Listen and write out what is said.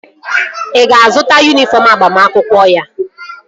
Ị ga-azụta yunifọm agbamakwụkwọ ya?